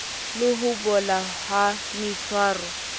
le ho bola ha maitshwaro